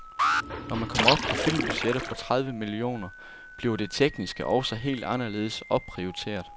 Når man kommer op på filmbudgetter på tredive millioner, bliver det tekniske også helt anderledes opprioriteret.